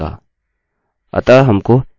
अतः हमको a d e और k मिल गया